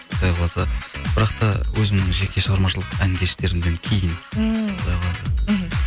құдай қаласа бірақ та өзімнің жеке шығармашылық ән кештерімнен кейін ммм құдай қаласа мхм